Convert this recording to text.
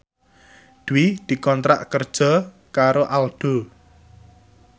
Dwi dikontrak kerja karo Aldo